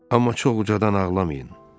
Amma çox ucadan ağlamayın.